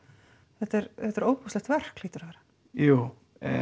þetta er þetta er ofboðslegt verk hlýtur að vera jú